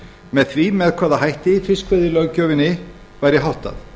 með því hvernig fiskveiðilöggjöfinni væri háttað